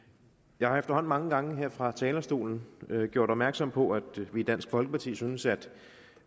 jeg har efterhånden mange gange her fra talerstolen gjort opmærksom på at vi i dansk folkeparti synes at